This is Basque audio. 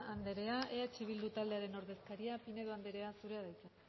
anderea eh bildu taldearen ordezkaria pinedo anderea zurea da hitza